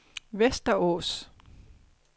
Västerås